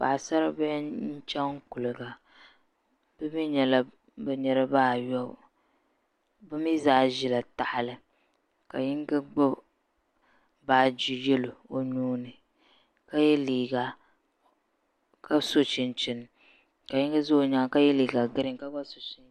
Paɣasari bihi n chɛŋ kuliga bi mii nyɛla bi niraba ayobu bi mii zaa ʒila tahali ka yinga gbubi baaji yɛlo o nuuni ka yɛ liiga ka so chinchini ka yinga ʒɛ o nyaanga ka yɛ liiga giriin ka gba so chinchini